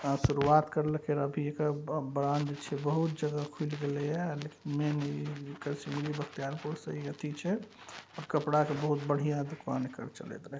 आँ शुरुआत करले खा अभी ऐकर ब--ब्रांड छे बहुत जगह खुल गलिये लेकिन मेन ई सिमरी-बख़्तियारपुर से अथी छे। आ कपड़ा के बहुत बढ़िया दुकान ऐकर चलईत रहे।